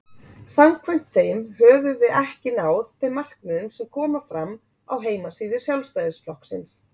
Samkvæmt þeim höfum við ekki náð þeim markmiðum sem koma fram á heimasíðu Sjálfstæðisflokksins.